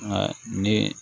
Nka ni